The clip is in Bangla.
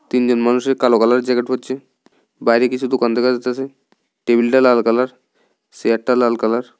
তিনজন মানুষে কালো কালারের জ্যাকেট পরছে বাইরে কিছু দোকান দেখা যাইতাসে টেবিলটা লাল কালার সেয়ারটা লাল কালার ।